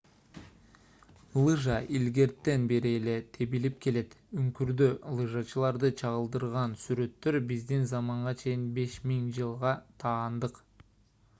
лыжа илгертен бери эле тебилип келет үңкүрдө лыжачыларды чагылдырган сүрөттөр биздин заманга чейин 5000-жылга таандык